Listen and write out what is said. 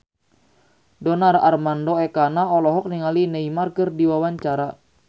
Donar Armando Ekana olohok ningali Neymar keur diwawancara